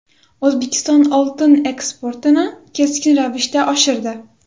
O‘zbekiston oltin eksportini keskin ravishda oshirdi.